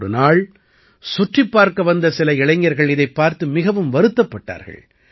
ஒரு நாள் சுற்றிப் பார்க்க வந்த சில இளைஞர்கள் இதைப் பார்த்து மிகவும் வருத்தப்பட்டார்கள்